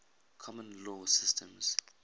common law systems